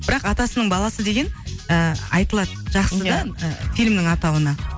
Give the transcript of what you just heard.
бірақ атасының баласы деген ыыы айтылады жақсы да фильмнің атауына